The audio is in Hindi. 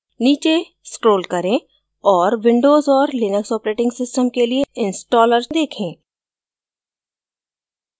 नीचे scroll करें और windows और लिनक्स operating systems के लिए installers देखें